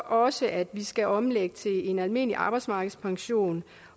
også at vi skal omlægge til en almindelig arbejdsmarkedspension